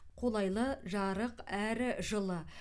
қолайлы жарық әрі жылы